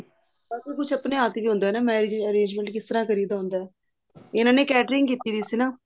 ਤਨ ਕੁਛ ਆਪਣੇ ਹੱਠ ਵੀ ਹੁੰਦਾ marriage arrangement ਕਿਸ ਤਰ੍ਹਾਂ ਕਰੀ ਦਾ ਹੁੰਦਾ ਇਹਨਾ ਨੇ catering ਕੀਤੀ ਹੋਈ ਸੀ ਨਾ